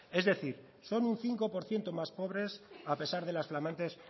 es decir son un cinco por ciento más pobres a pesar de las flamantes